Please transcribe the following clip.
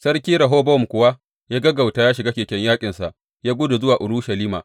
Sarki Rehobowam kuwa ya gaggauta ya shiga keken yaƙinsa ya gudu zuwa Urushalima.